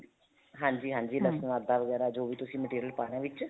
ਹਾਂਜੀ ਹਾਂਜੀ ਆਦਾ ਵਗੈਰਾ ਜੋ ਵੀ ਤੁਸੀਂ material ਪਾਣਾ ਹੈ ਵਿੱਚ